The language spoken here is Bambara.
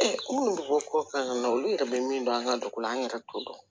minnu bɛ bɔ ko kan na olu yɛrɛ bɛ min dɔn an ka dugu la an yɛrɛ t'o dɔn